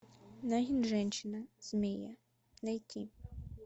нагин женщина змея найти